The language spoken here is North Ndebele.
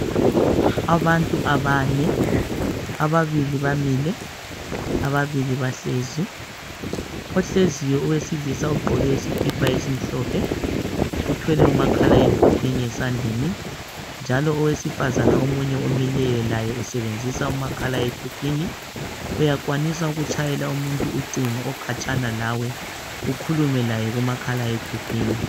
Abantu abane. Ababili bamile. Ababili bahlezi. Ohleziyo, owesilisa ugqoke isikipa esimhlophe. Uthwele umakhala ekhukwini esandleni, njalo owesifazana omunye omileyo, laye usebenzisa umakhala ekhukhwini. Uyakwanisa ukutshayela umuntu ucingo, okhatshana lawe. Ukhulume laye, kumakhala ekhukhwini.